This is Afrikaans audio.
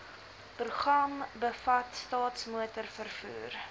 program bevat staatsmotorvervoer